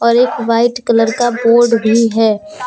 और एक white colour का बोर्ड भी है।